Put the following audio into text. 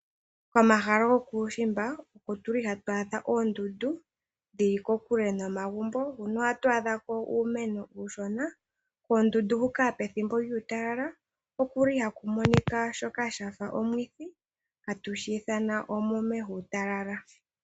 Komahala gokuushimba hatwaadha ko oondundu ndili kokule nomagumbo no koondundu ohatwadhako uumeno uushona. Pethimbo lyuutalala koondundu ohaku monika oshitsimine shoka shafa olwiithi shono hatu shiithana omume yuutalala.